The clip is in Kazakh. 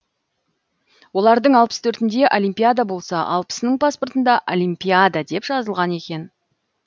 олардың алпыс төртінде олимпиада болса алпысының паспортында алимпиада деп жазылған екен